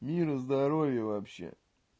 мира здоровье вообще